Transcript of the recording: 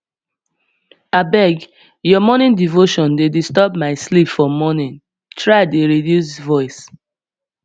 abeg your morning devotion dey disturb my sleep for morning try dey reduce voice